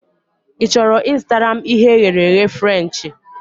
Ị chọrọ I zụtara m ihe e ghere eghe Frenchị?